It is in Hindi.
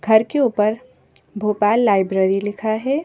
घर के ऊपर भोपाल लाइब्रेरी लिखा है।